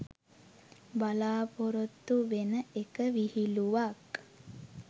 බලාපොරොත්තු වෙන එක විහිලුවක්.